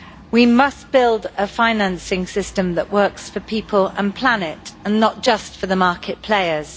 We must build a financing system that works for people and planet and not just for the market players.